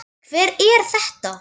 Hver er þetta?